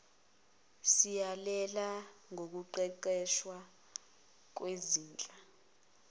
siyalela ngokuqeqeshwa kwezinhla